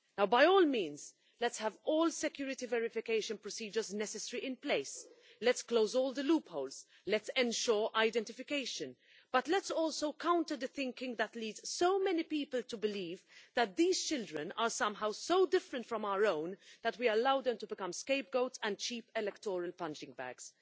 By all means let's have all the necessary security verification procedures in place, let's close all the loopholes and let's ensure identification, but let's also counter the thinking that leads so many people to believe that these children are somehow so different from our own that we allow them to become scapegoats and cheap electoral punch bags.